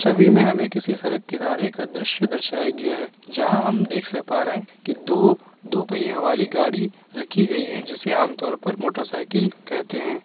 मे हमे किसी सड़क किनारे एक अ दृश्य दर्शाया गया है जहां हम देख सा पा रहे है की दो दो पहियों वाली गाड़ी रखी गई है जिसे आम तौर पर मोटरसाइकिल कहते है ।